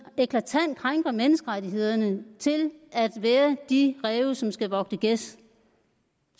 eklatant krænker menneskerettighederne til at være de ræve som skal vogte gæs